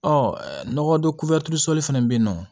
Ɔ nɔgɔ don sɔli fɛnɛ be yen nɔ